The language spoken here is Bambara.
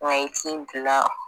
Wa i ti n bila